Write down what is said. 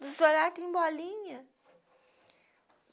Dos dois lados tem bolinha.